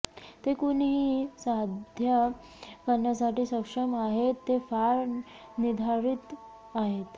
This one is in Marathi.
ते कुणीही साध्य करण्यासाठी सक्षम आहेत ते फार निर्धारित आहेत